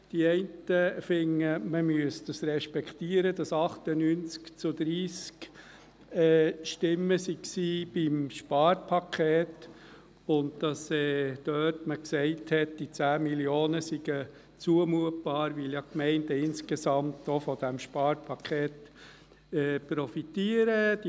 Die einen finden, man müsse respektieren, dass 98 zu 30 Stimmen für das Sparpaket waren und man sagte, diese 10 Mio. Franken seien zumutbar, weil die Gemeinden insgesamt ja auch von diesem Sparpaket profitieren würden.